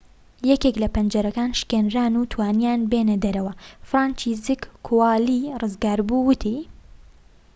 یەکێك لە پەنجەرەکان شکێنران و توانییان بێنە دەرەوە فرانچیزەک کۆوالی ڕزگاربوو وتی